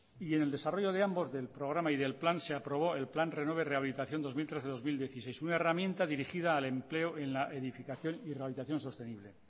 y el desarrollo de ambos del programa y del plan se aprobó el plan renové rehabilitación dos mil trece dos mil dieciséis una herramienta dirigida al empleo en la edificación y rehabilitación sostenible